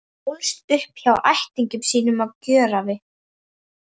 Hún ólst upp hjá ættingjum sínum á Gjögri.